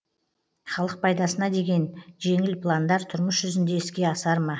халық пайдасына деген жеңіл пландар тұрмыс жүзінде іске асар ма